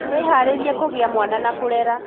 Wĩharĩrie kũgĩa mwana na kũrera